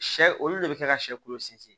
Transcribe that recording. Sɛ olu de bɛ kɛ ka sɛ kulo sinsin